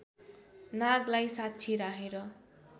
नागलाई साक्षी राखेर